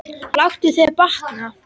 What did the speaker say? Láttu þér batna.